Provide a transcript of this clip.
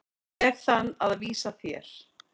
veg þann að vísa þér.